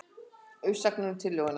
Umsagnir um tillöguna